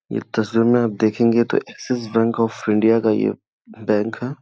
इस तस्वीर में आप देखगे तो एकसिस बैंक ऑफ़ इंडिया का ये बैंक है।